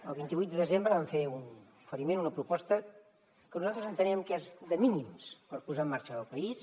el vint vuit de desembre vam fer un oferiment una proposta que nosaltres entenem que és de mínims per posar en marxa el país